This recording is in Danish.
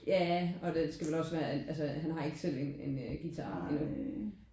Ja og den skal vel også være altså han har ikke selv en en guitar endnu